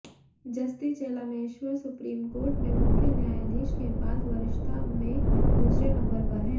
जस्ती Chelameswar Supreme Court में मुख्य न्यायाधीश के बाद वरिष्ठता में दूसरे नंबर पर हैं